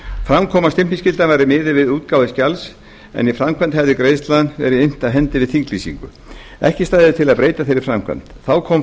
fram kom að stimpilskylda væri miðuð við útgáfu skjals en í framkvæmd hefði greiðsla verið innt af hendi við þinglýsingu ekki stæði til að breyta þeirri framkvæmd þá kom